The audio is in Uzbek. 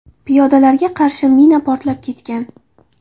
Piyodalarga qarshi mina portlab ketgan.